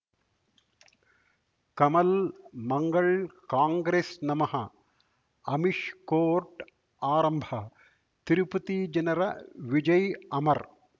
ಕಮಲ್ ಮಂಗಳ್ ಕಾಂಗ್ರೆಸ್ ನಮಃ ಅಮಿಷ್ ಕೋರ್ಟ್ ಆರಂಭ ತಿರುಪತಿ ಜನರ ವಿಜಯ್ ಅಮರ್